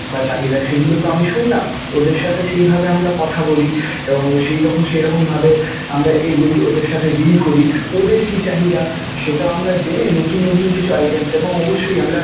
বা চাহিদা সেগুলোতো আমি শুনলাম, ওদের সাথে সেইভাবে আমরা কথা বলি এবং সেইরকম~ সেইরকমভাবে আমরা এগোই ওদের সাথে deal করি. ওদের কি চাহিদা সেটাও আমরা জেনে নতুন নতুন কিছু items এবং অবশ্যই আমরা